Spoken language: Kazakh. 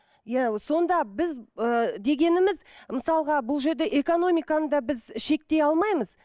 иә сонда біз ыыы дегеніміз мысалға бұл жерде экономиканы да біз шектей алмаймыз